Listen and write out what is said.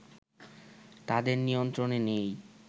তাদের নিয়ন্ত্রনে নেই